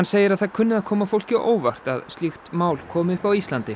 segir að það kunni að koma fólki á óvart að slíkt máli komi upp á Íslandi